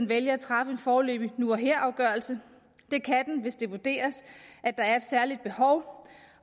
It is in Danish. vælge at træffe en foreløbig nu og her afgørelse hvis det vurderes at der er et særligt behov